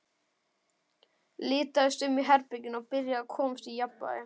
Litaðist um í herberginu og byrjaði að komast í jafnvægi.